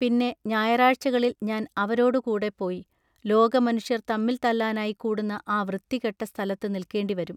പിന്നെ ഞായറാഴ്ചകളിൽ ഞാൻ അവരോടു കൂടെ പോയി ലോകമനുഷ്യർ തമ്മിൽ തല്ലാനായി കൂടുന്ന ആ വൃത്തികെട്ട സ്ഥലത്തുനില്ക്കേണ്ടിവരും.